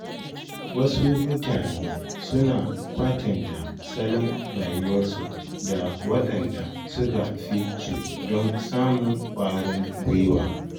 Wasu mutane suna kwatanta salon rayuwarsu da waɗanda suka fi su don samun ƙwarin gwiwa.